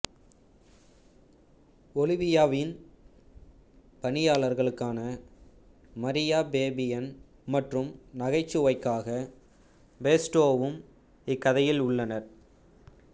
ஒலிவியாவின் பணியாளர்களான Maria Fabian மற்றும் நகைச்சுவைக்காக பெஸ்டோவும் இக்கதையில் உள்ளனர்